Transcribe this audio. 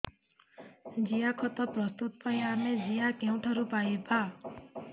ଜିଆଖତ ପ୍ରସ୍ତୁତ ପାଇଁ ଆମେ ଜିଆ କେଉଁଠାରୁ ପାଈବା